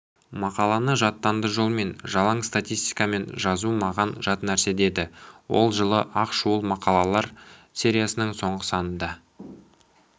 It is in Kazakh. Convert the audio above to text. мақаланы жаттанды жолмен жалаң статистикамен жазу маған жат нәрсе деді ол жылы ақ шуылмақалалар сериясының соңғы санында